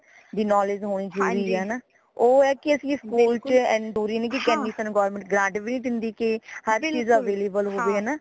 knowledge ਹੋਣੀ ਜ਼ਰੂਰੀ ਹੈ ਹੈ ਨਾ ਓ ਹੈ ਕਿ ਅਸੀਂ ਸਕੂਲ ਚ ਓ ਹੈ ਕਿ ਜ਼ਰੂਰੀ ਨੀ ਕਿ ਏਨੀ ਸਾਨੂੰ government grant ਵੀ ਦੇਂਦੀ ਕਿਹਰ ਚੀਜ਼ available ਹੋ ਜੇ ਹੈ ਨਾ